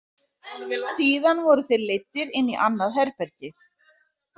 Síðan voru þeir leiddir inn í annað herbergi.